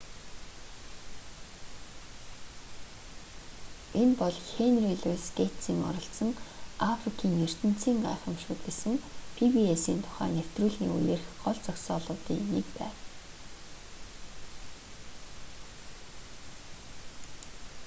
энэ бол хенри луйс гэйтсийн оролцсон африкийн ертөнцийн гайхамшгууд гэсэн пи-би-эс-ийн тусгай нэвтрүүлгийн үеэрх гол зогсоолуудын нэг байв